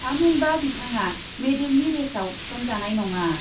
थामहिनबा बिथाङा मेडेलनि रेसआव थिसनजानाय नङा ।